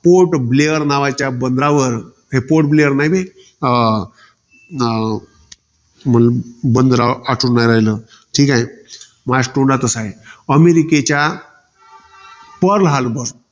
पोर्टब्लेअर नावाच्या बंदरावर. हे पोर्टब्लेअर नाही बे. अं बंदरावर आठवून नाय राहिलं. ठीकाय. माय तोंडातच हाय. अमेरिकेच्या पर्ल हार्बर.